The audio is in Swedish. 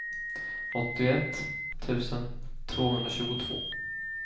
åttioett tusen tvåhundratjugotvå